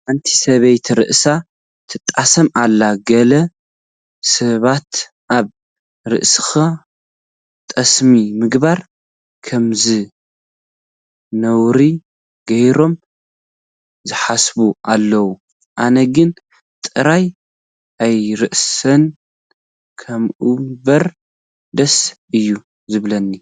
ሓንቲ ሰበይቲ ርእሳ ትጣሰም ኣላ፡፡ ገለ ሰባት ኣብ ርእስኻ ጠስሚ ምግባር ከምዘንውር ገይሮም ዝሓስቡ ኣለዉ፡፡ ኣነ ግን ጥራሕ ኣይርሳሕ እምበር ደስ እዩ ዝብለኒ፡፡